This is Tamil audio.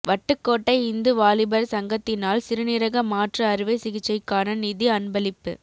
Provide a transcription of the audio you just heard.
வட்டுக்கோட்டை இந்து வாலிபர் சங்கத்தினால் சிறுநீரக மாற்று அறுவை சிகிச்சைக்கான நிதி அன்பளிப்பு